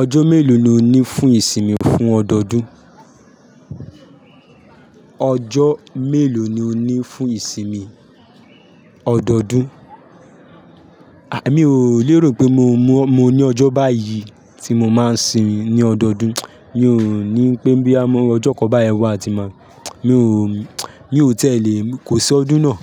Ọjọ́ mélòó ni o ní fún ìsinmi fún ọdọọdún? Ọjọ́ mélòó ni o ní fún ìsinmi ọdọọdún? Àì mí ò lérò pé mo mú, mo ní ọjọ́ báyìí tí mo máa simi ní ọdọọdún. Mi ò ní pé bí a bá mọ ọjọ́ kọ́ bá ẹ wá, a ti mọ̀. Mi ò, mi ò tẹ́lẹ̀ kò sí ọdún náà.